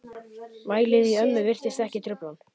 Vælið í ömmu virtist ekki trufla hann.